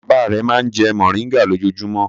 Bàbá rẹ̀ máa ń jẹ mòríngà lójoojúmọ́.